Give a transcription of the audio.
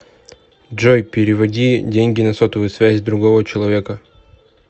джой переводи деньги на сотовую связь другого человека